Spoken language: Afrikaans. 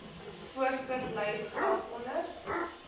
voorskriflys geld onder